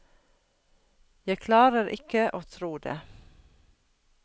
Jeg klarer ikke å tro det.